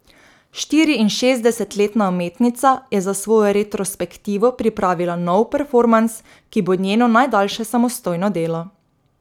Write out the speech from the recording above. Štiriinšestdesetletna umetnica je za svojo retrospektivo pripravila nov performans, ki bo njeno najdaljše samostojno delo.